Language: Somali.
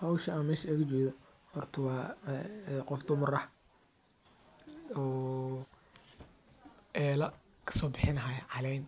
Howsha aan meesha ooga jeeda horta waa qof dumar ah oo eela kasoo bixinaayo caleen